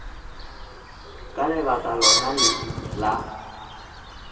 ka lebaka lona le la